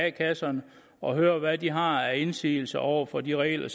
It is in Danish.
a kasserne og høre hvad de har af indsigelser over for de regler